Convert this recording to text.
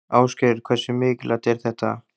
Ásgeir: Hversu mikilvægt er þetta?